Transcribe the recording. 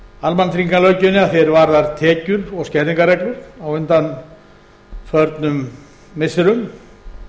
almannatryggingalöggjöfinni að því er varðar tekjur og skerðingarreglur á undanförnum missirum